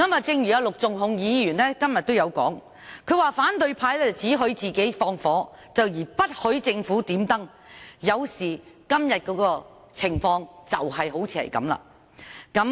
正如陸頌雄議員今天說，反對派只許自己放火而不許政府點燈，今天的情況就正是如此。